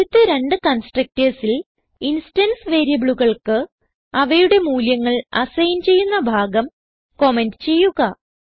ആദ്യത്തെ രണ്ട് constructorsൽ ഇൻസ്റ്റൻസ് വേരിയബിളുകൾക്ക് അവയുടെ മൂല്യങ്ങൾ അസൈൻ ചെയ്യുന്ന ഭാഗം കമന്റ് ചെയ്യുക